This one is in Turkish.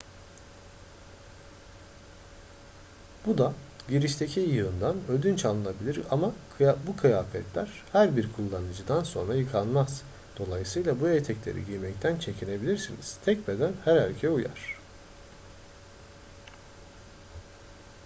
bu da girişteki yığından ödünç alınabilir ama bu kıyafetler her bir kullanıcıdan sonra yıkanmaz dolayısıyla bu etekleri giymekten çekinebilirsiniz tek beden her erkeğe uyar